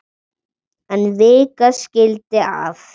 En vika skildi að.